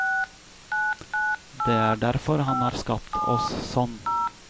Det er derfor han har skapt oss sånn.